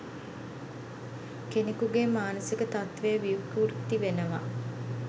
කෙනකුගේ මානසික තත්ත්වය විකෘති වෙනවා.